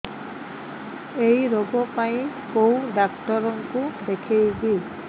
ଏଇ ରୋଗ ପାଇଁ କଉ ଡ଼ାକ୍ତର ଙ୍କୁ ଦେଖେଇବି